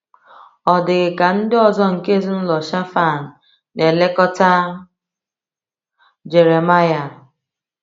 Ọ̀ dị ka ndị ọzọ nke ezinụlọ Shaphan na-elekọta Jeremiah?